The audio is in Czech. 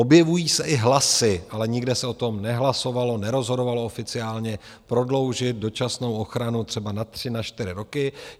Objevují se i hlasy, ale nikde se o tom nehlasovalo, nerozhodovalo oficiálně, prodloužit dočasnou ochranu třeba na tři, na čtyři roky.